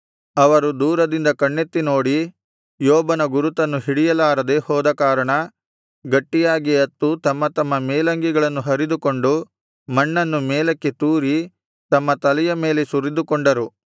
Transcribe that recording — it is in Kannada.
ಅವರು ದೂರದಿಂದ ಕಣ್ಣೆತ್ತಿ ನೋಡಿ ಯೋಬನ ಗುರುತನ್ನು ಹಿಡಿಯಲಾರದೆ ಹೋದ ಕಾರಣ ಗಟ್ಟಿಯಾಗಿ ಅತ್ತು ತಮ್ಮ ತಮ್ಮ ಮೇಲಂಗಿಗಳನ್ನು ಹರಿದುಕೊಂಡು ಮಣ್ಣನ್ನು ಮೇಲಕ್ಕೆ ತೂರಿ ತಮ್ಮ ತಲೆಯ ಮೇಲೆ ಸುರಿದುಕೊಂಡರು